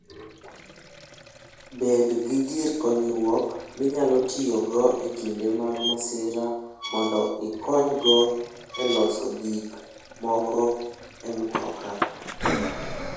Bed gi gir konyruok minyalo tiyogo e kinde mag masira mondo ikonygo e loso gik moko e mtoka.